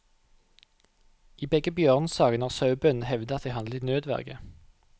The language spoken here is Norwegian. I begge bjørnesakene har sauebøndene hevdet at de handlet i nødverge.